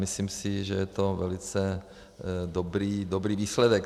Myslím si, že je to velice dobrý výsledek.